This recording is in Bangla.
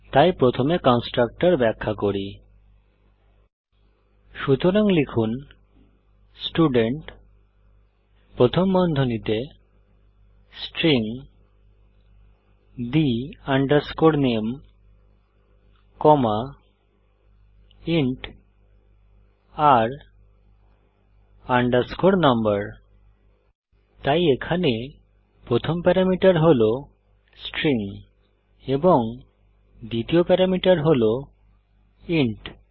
তাই প্রথমে কন্সট্রাকটর ব্যাখ্যা করি সুতরাং লিখুন স্টুডেন্ট প্রথম বন্ধনীতে string the name comma int r no তাই এখানে প্রথম প্যারামিটার হল স্ট্রিং এবং দ্বিতীয় প্যারামিটার হল ইন্ট